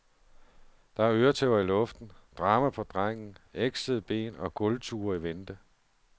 Der er øretæver i luften, drama på drengen, eksende ben og gulvture i vente.